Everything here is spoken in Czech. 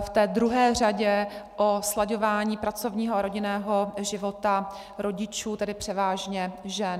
v té druhé řadě o slaďování pracovního a rodinného života rodičů, tedy převážně žen.